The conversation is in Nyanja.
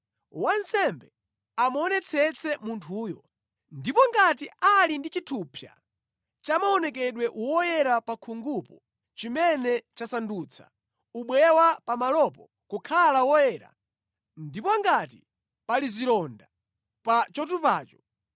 Wansembe amuonetsetse munthuyo, ndipo ngati ali ndi chithupsa chamaonekedwe woyera pa khungupo chimene chasandutsa ubweya wa pamalopo kukhala woyera, ndipo ngati pali zilonda pa chotupacho,